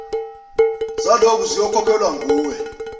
zaloku ziyokhokhelwa nguwe